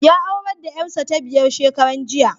Ya aurar da ƴarsa ta biyar shekaran jiya.